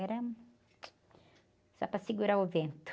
Era só para segurar o vento.